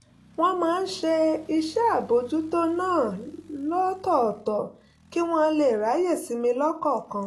wọ́n máa ń ṣe iṣẹ́ àbójútó náà lọ́tọ̀ọ̀tọ̀ kí wọ́n lè ráyè sinmi lọ́kọ̀ọ̀kan